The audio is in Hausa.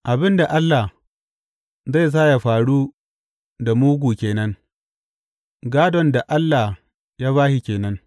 Abin da Allah zai sa yă faru da mugu ke nan, gādon da Allah ya ba shi ke nan.